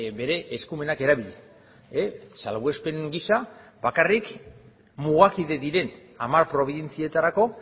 bere eskumenak erabili salbuespen gisa bakarrik mugakide diren hamar probintzietarako